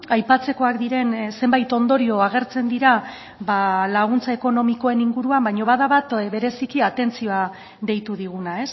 aipatzekoak diren zenbait ondorio agertzen dira laguntza ekonomikoen inguruan baina bada bat bereziki atentzioa deitu diguna